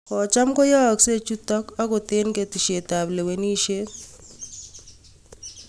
" Kocham koyaakse chuutok, angoot eng' ketesyeet ap kalewenisyeet